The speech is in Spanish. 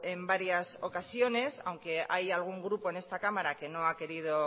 en varias ocasiones aunque hay algún grupo en esta cámara que no ha querido